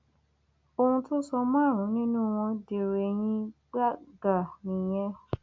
ohun tó sọ márùnún nínú wọn dèrò eyín gbàgà nìyẹn